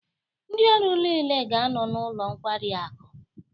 Ndị ọrụ niile ga-anọ n'ụlọ nkwari akụ.